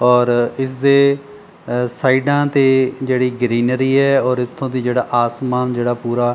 ਔਰ ਇਸਦੇ ਅ ਸਾਈਡਾਂ ਤੇ ਜਿਹੜੀ ਗਰੀਨਰੀ ਐ ਔਰ ਇੱਥੋਂ ਦੀ ਜਿਹੜਾ ਆਸਮਾਨ ਜਿਹੜਾ ਪੂਰਾ --